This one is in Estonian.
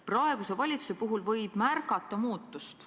Praeguse valitsuse puhul võib märgata muutust.